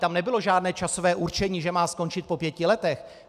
Tam nebylo žádné časové určení, že má skončit po pěti letech.